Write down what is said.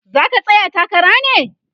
zaka tsaya takara ne?